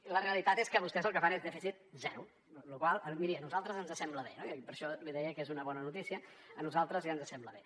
i la realitat és que vostès el que fan és dèficit zero amb la qual cosa miri a nosaltres ens sembla bé i per això li deia que és una bona notícia a nosaltres ja ens sembla bé